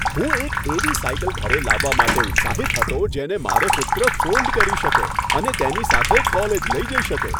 હું એક એવી સાઇકલ ઘરે લાવવા માટે ઉત્સાહિત હતો જેને મારો પુત્ર ફોલ્ડ કરી શકે અને તેની સાથે કોલેજ લઈ જઈ શકે.